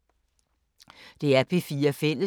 DR P4 Fælles